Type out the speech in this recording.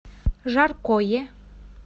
жаркое